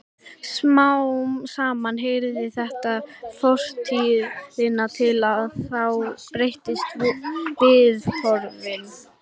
Smám saman heyrir þetta fortíðinni til og þá breytast viðhorfin.